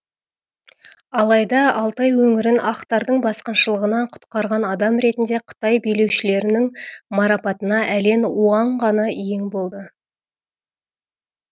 алайда алтай өңірін ақтардың басқыншылығынан құтқарған адам ретінде қытай билеушілерінің марапатына әлен уаң ғана иең болды